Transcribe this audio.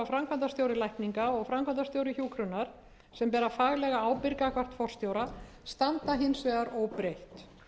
framkvæmdastjóri lækninga og framkvæmdastjóri hjúkrunar sem bera faglega ábyrgð gagnvart forstjóra standa hins vegar óbreytt